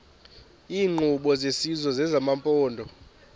iinkqubo zesizwe nezamaphondo